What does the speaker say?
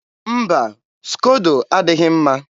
mba, skodo adịghị mma.